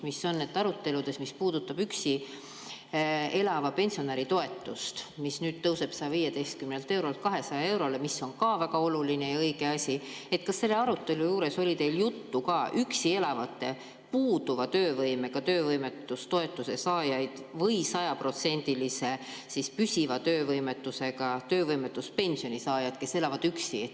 Kas aruteludes, mis puudutasid üksi elava pensionäri toetust, mis nüüd tõuseb 115 eurolt 200 eurole, mis on ka väga oluline ja õige asi, oli teil juttu ka üksi elavate puuduva töövõimega töövõimetustoetuse saajatest või sajaprotsendilise püsiva töövõimetusega töövõimetuspensioni saajatest, kes elavad üksi?